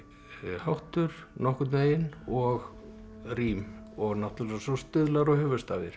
háttur nokkurn veginn og rím og náttúrulega svo stuðlar og